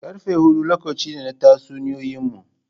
Karfe hudu lokaci ne na tatsuniyoyinmu.